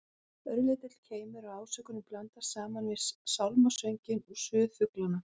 Örlítill keimur af ásökun blandast saman við sálmasönginn og suð flugnanna.